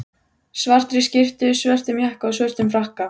svartri skyrtu, svörtum jakka og svörtum frakka.